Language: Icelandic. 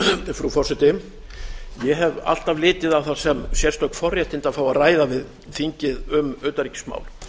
frú forseti ég hef alltaf litið á það sem sérstök forréttindi að fá að ræða við þingið um utanríkismál